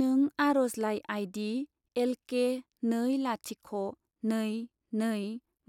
नों आर'जलाइ आई.डी. एलके नै लाथिख' नै नै